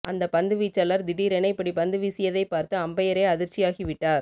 அந்த பந்துவீச்சாளர் திடீரென இப்படி பந்துவீசியதை பார்த்து அம்பயரே அதிர்ச்சி ஆகிவிட்டார்